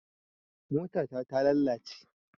Mota ta ta lalace